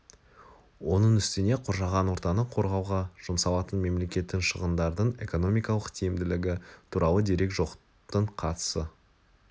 оның үстіне қоршаған ортаны қорғауға жұмсалатын мемлекеттің шығындардың экономикалық тиімділігі туралы дерек жоқтың қасы